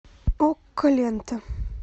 окко лента